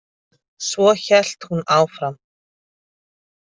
Svo hélt hún áfram: